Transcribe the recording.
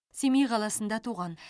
семей қаласында туған